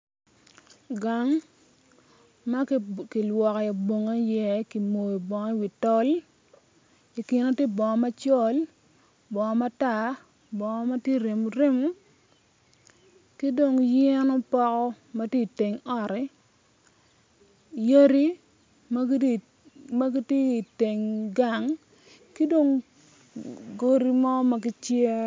Gang ma kilwoko bongi iyekimoyo i wi tol i kine tye bongo macol bongo matar, bongo ma tye remoremo ki dong yen opoko ma tye i teng ot yadi ma gitye i teng gang ki dong godi mo ma gicer.